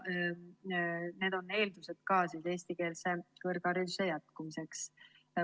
Need on ka eestikeelse kõrghariduse jätkumise eeldused.